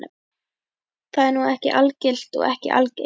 Það er nú ekki algilt og ekki algengt?